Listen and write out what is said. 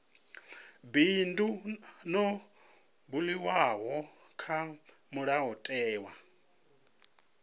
bindu ḽo buliwaho kha mulayotewa